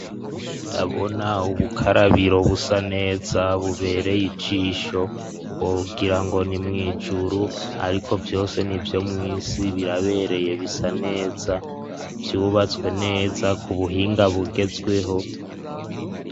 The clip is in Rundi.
Ndabona ubukarabiro busa neza bubereye ijisho wogirango ni mwijuru ariko vyose nivyo mw'isi birabereye bisa neza vyubatswe neza ku buhinga bugezweho.